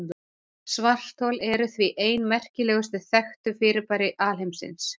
Svarthol eru því ein merkilegustu þekktu fyrirbæri alheimsins.